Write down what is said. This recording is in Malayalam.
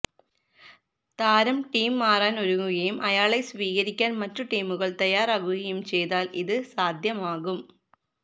താരം ടീം മാറാൻ ഒരുങ്ങുകയും അയാളെ സ്വീകരിക്കാൻ മറ്റു ടീമുകൾ തയാറാകുകയും ചെയ്താൽ ഇത് സാധ്യമാകും